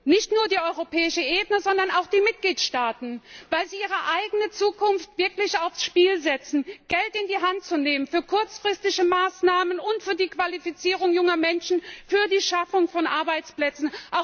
Nicht nur die europäische Ebene, sondern auch die Mitgliedstaaten, weil sie ihre eigene Zukunft ansonsten wirklich aufs Spiel setzen. Sie müssen Geld in die Hand nehmen für kurzfristige Maßnahmen, für die Qualifizierung junger Menschen und für die Schaffung von Arbeitsplätzen.